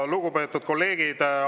Lugupeetud kolleegid!